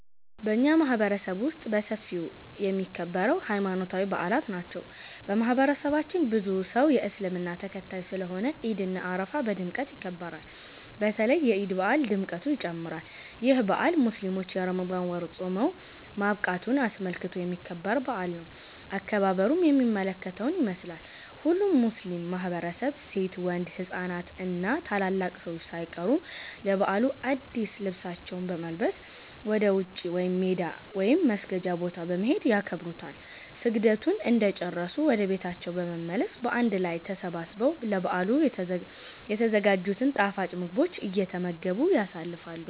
በኛ ማህበረሰብ ውስጥ በሰፊው የሚከበረው ሀይማኖታዊ በአላት ናቸው። በማህበረሰባችን ብዙ ሰው የእስልምና ተከታይ ስለሆነ ዒድ እና አረፋ በድምቀት ይከበራሉ። በተለይ የዒድ በአል ድምቀቱ ይጨምራል። ይህ በአል ሙስሊሞች የረመዳን ወር ፆም ማብቃቱን አስመልክቶ የሚከበር በአል ነው። አከባበሩም የሚከተለውን ይመስላል። ሁሉም ሙስሊም ማህበረሰብ ሴት፣ ወንድ፣ ህፃናት እና ታላላቅ ሰዎች ሳይቀሩ ለበዓሉ አድስ ልብሳቸውን በመልበስ ወደ ውጪ (ሜዳ) ወይም መስገጃ ቦታ በመሄድ ያከብሩታል። ስግደቱን እንደጨረሱ ወደ ቤታቸው በመመለስ በአንድ ላይ ተሰባስበው ለበዓሉ የተዘጋጅቱን ጣፋጭ ምግቦች እየተመገቡ ያሳልፋሉ።